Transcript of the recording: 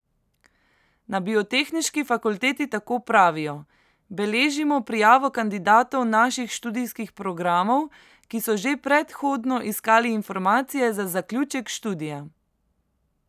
Na Biotehniški fakulteti tako pravijo: 'Beležimo prijavo kandidatov naših študijskih programov, ki so že predhodno iskali informacije za zaključek študija.